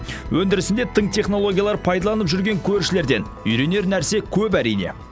өндірісінде тың технологиялар пайдаланып жүрген көршілерден үйренер нәрсе көп әрине